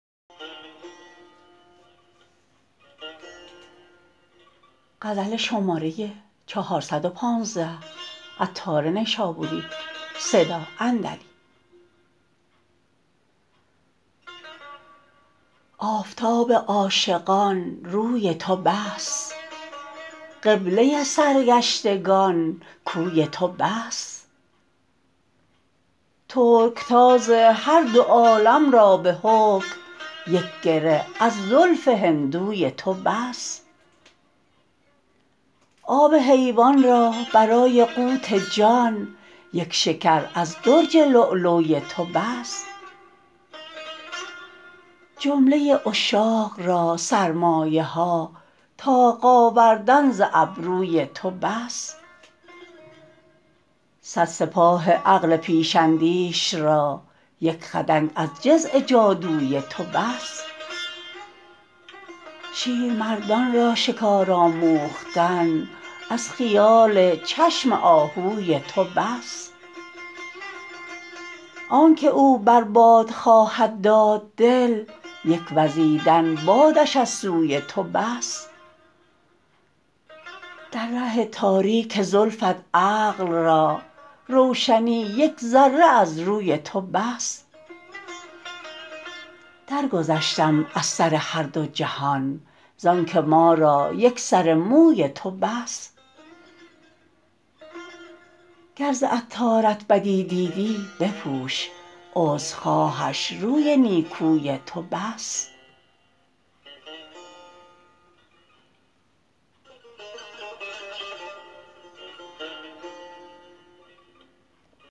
آفتاب عاشقان روی تو بس قبله سرگشتگان کوی تو بس ترکتاز هر دو عالم را به حکم یک گره از زلف هندوی تو بس آب حیوان را برای قوت جان یک شکر از درج لولوی تو بس جمله عشاق را سرمایه ها طاق آوردن ز ابروی تو بس صد سپاه عقل پیش اندیش را یک خدنگ از جزع جادوی تو بس شیرمردان را شکار آموختن از خیال چشم آهوی تو بس آنکه او بر باد خواهد داد دل یک وزیدن بادش از سوی تو بس در ره تاریک زلفت عقل را روشنی یک ذره از روی تو بس درگذشتم از سر هر دو جهان زانکه ما را یک سر موی تو بس گر ز عطارت بدی دیدی بپوش عذر خواهش روی نیکوی تو بس